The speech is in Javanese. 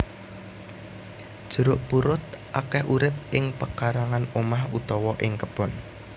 Jeruk purut akeh urip ing pekarangan omah utawa ing kebon